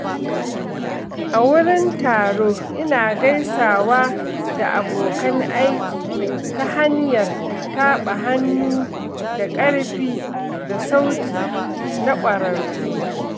A wurin taro ina gaisawa da abokan aiki ta hanyar taɓa hannu da ƙarfi da sauti na ƙwararru.